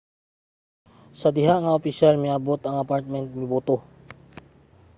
sa diha nga ang opisyal miabot ang apartment mibuto